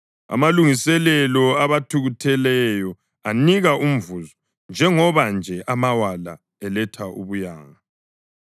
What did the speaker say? Amalungiselelo abakhutheleyo anika umvuzo njengoba nje amawala eletha ubuyanga.